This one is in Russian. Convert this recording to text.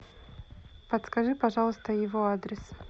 подскажи пожалуйста его адрес